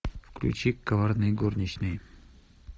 включи коварные горничные